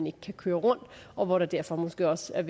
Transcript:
ikke kan køre rundt og hvor der derfor måske også er